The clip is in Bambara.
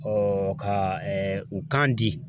ka u kan di